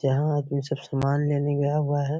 जहाँ आदमी सब समान लेने गया हुआ है।